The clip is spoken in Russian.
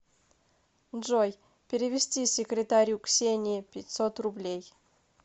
джой перевести секретарю ксении пятьсот рублей